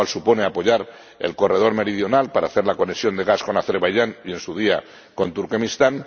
lo cual supone apoyar el corredor meridional para hacer la conexión de gas con Azerbaiyán y, en su día, con Turkmenistán